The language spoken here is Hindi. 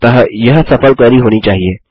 अतः यह सफल क्वेरी होनी चाहिए